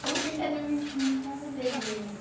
Porque ainda não me incomodei mesmo.